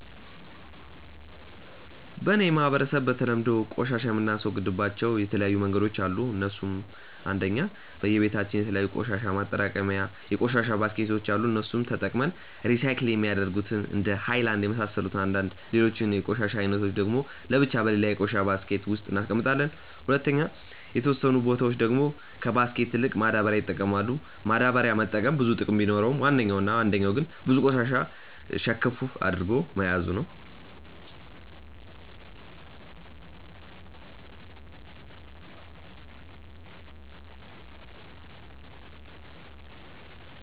በ እኔ ማህበረሰብ በተለምዶ ቆሻሻ የምናስወግድባቸው የተለያዩ መንገዶች አሉ እነሱም :- 1. በየ በታችን የተለያዩ የቆሻሻ ማጠራቀሚታ የቆሻሻ ባስኬቶች አሉ እነሱንም ተጠቅመን ሪሳይክል የሚደረጉትን እንደነ ሃይላንድ የመሳሰሉትን አንድላይ ሌሎቹን የቆሻሻ አይነቶች ደግሞ ለብቻ በሌላ የቆሻሻ ባስኬት ውስጥ እናስቀምጣለም። 2. የተወሰኑ በቶች ደግሞ ከባስኬት ይልቅ ማዳበሪያ ይጠቀማሉ፤ ማዳበሪያ መጠቀም ብዙ ጥቅም ቢኖረውም ዋነኛው እና አንደኛው ግን ብዙ ቆሻሻ ሸከፍ አድርጎ መያዙ ነው።